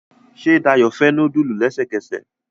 Ṣe Dayo fè nudulu lẹsẹkẹsẹ